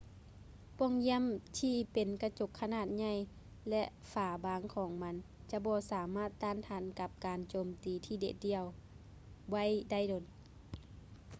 ປ່ອງຢ້ຽມທີ່ເປັນກະຈົກຂະໜາດໃຫຍ່ ແລະ ຝາບາງໆຂອງມັນຈະບໍ່ສາມາດຕ້ານທານກັບການໂຈມຕີທີ່ເດັດດ່ຽວໄວ້ໄດ້ດົນ